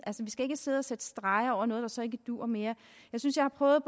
skal ikke sidde og sætte streger over noget der så ikke duer mere jeg synes jeg prøvede